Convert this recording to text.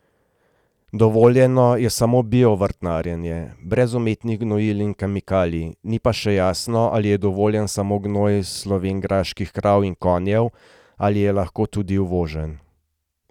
Dovoljeno je samo bio vrtnarjenje, brez umetnih gnojil in kemikalij, ni pa še jasno ali je dovoljen samo gnoj slovenjgraških krav in konjev ali je lahko tudi uvožen.